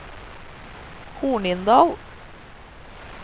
Hornindal